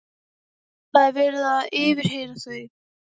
Það er verið að yfirheyra þau.